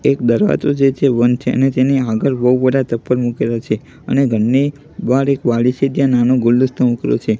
એક દરવાજો જે છે બંધ છે અને તેની આગળ બૌ બધા ચપ્પલ મુકેલો છે અને ઘરની બાર એક વાડી છે ત્યાં નાનો ગુલદસ્તો તો મુકેલો છે.